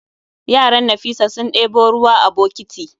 Yaran Nafisa sun ɗebo ruwa a bokiti